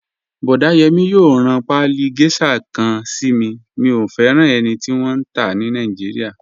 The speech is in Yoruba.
Boda Yemi yòò ran paálí geisha kan sí mí, mí o fẹran ènì tí wọn n tá ní Naijíríà.